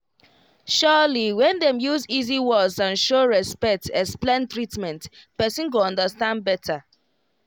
surely when dem use easy words and show respect explain treatment person go understand better